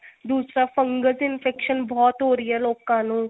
ਦੂਸਰਾ fungus infection ਬਹੁਤ ਹੋ ਰਹੀ ਹੈ ਲੋਕਾਂ ਨੂੰ